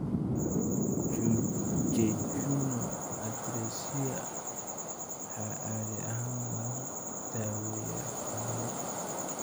Jejunal atresia waxaa caadi ahaan lagu daaweeyaa qaliin.